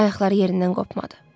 Ayaqları yerindən qopmadı.